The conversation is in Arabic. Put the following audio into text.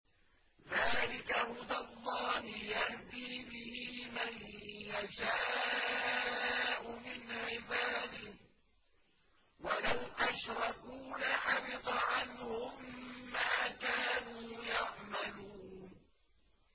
ذَٰلِكَ هُدَى اللَّهِ يَهْدِي بِهِ مَن يَشَاءُ مِنْ عِبَادِهِ ۚ وَلَوْ أَشْرَكُوا لَحَبِطَ عَنْهُم مَّا كَانُوا يَعْمَلُونَ